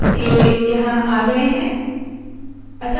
तो ये यहाँ आ गए है